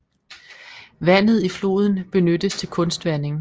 Vandet i floden benyttes til kunstvanding